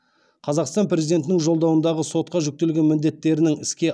қазақстан президентінің жолдауындағы сотқа жүктелген міндеттерінің іске